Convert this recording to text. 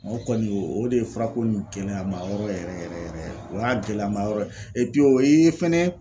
O kɔni o o de ye furako in gɛlɛyamayɔrɔ yɛrɛ yɛrɛ yɛrɛ ye. O y'a gɛlɛyamayɔrɔ ye o yee fɛnɛ